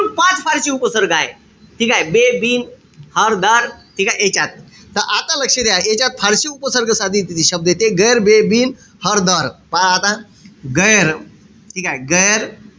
पाच फारशी उपसर्ग आहे. ठीकेय? बे, बिन, हर, दर ठीकेय? यांच्यात. त आता लक्ष द्या. यांच्यात फारशी उपसर्ग साधित शब्द येते. गैर, बे, बिन, हर, दर. पहा आता. गैर, ठीकेय? गैर,